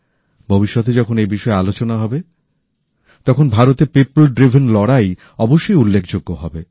ভবিষ্যতে যখন এই বিষয়ে আলোচনা হবে তখন ভারতের পিপেল ড্রিভেন লড়াই অবশ্যই উল্লেখযোগ্য হবে